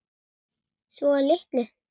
Svo litlu.